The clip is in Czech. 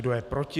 Kdo je proti?